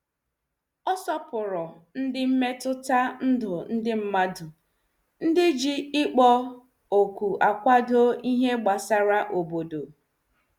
Ọ sopuru ndị mmetụta ndụ ndị mmadu, ndị ji ikpo okwu akwado ihe gbasara obodo.